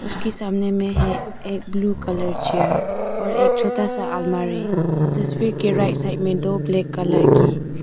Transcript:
उसके सामने में है एक ब्लू कलर चेयर और एक छोता सा अलमारी तस्वीर के राइट साइड में दो ब्लैक कलर की--